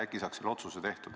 Äkki saaks selle otsuse tehtud.